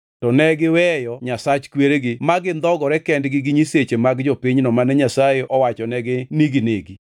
To negiweyo Nyasach kweregi ma gindhogore kendgi gi nyiseche mag jopinyno mane Nyasaye owachonegi ni ginegi.